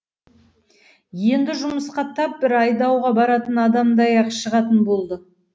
енді жұмысқа тап бір айдауға баратын адамдай ақ шығатын болды